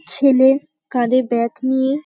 ছেলে-এ কাঁধে ব্যাগ নিয়ে--